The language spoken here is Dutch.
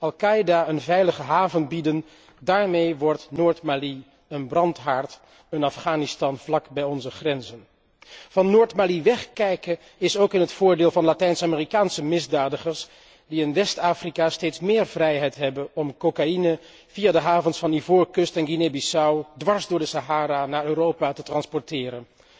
Al Qaida een veilige haven bieden, daarmee wordt Noord Mali een brandhaard, een Afghanistan vlakbij onze grenzen. Van Noord Mali wegkijken is ook in het voordeel van Latijns Amerikaanse misdadigers die in West Afrika steeds meer vrijheid hebben om cocaïne via de havens van Ivoorkust en Guinee Bissau dwars door de Sahara naar Europa te transporteren.